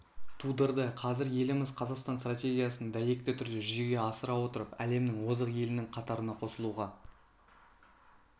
тудырды қазір еліміз қазақстан стратегиясын дәйекті түрде жүзеге асыра отырып әлемнің озық елінің қатарына қосылуға